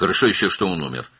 Yaxşı ki, o öldü.